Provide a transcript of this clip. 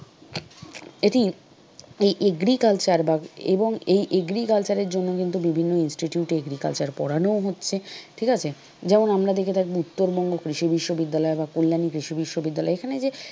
এটি এই agriculture বা এবং এই agriculture এর জন্য কিন্তু বিভিন্ন institute এ agriculture পড়ানোও হচ্ছে ঠিক আছে? যেমন আমরা দেখে থাকবো উত্তরবঙ্গ কৃষি বিশ্ববিদ্যালয় বা কল্যাণী কৃষি বিশ্ববিদ্যালয় এখানে যে,